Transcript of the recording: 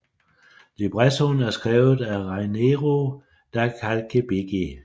Librettoen er skrevet af Raniero da Calzabigi